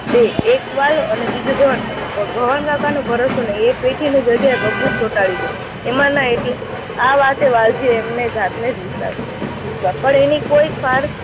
બે, એક વાલજી અને બીજા ભવનકાકા. પણ ભવનકાકા નો ભરોસો નહી. એ પેઠીની જગ્યાએ ભભૂત ચોટાડી દે. એમાંના એક, આ વાતે વાલજી એમને જાતને જ વિશ્વાસ, પણ એની કોઈ જ